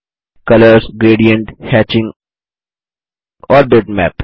colours gradient hatching और bitmap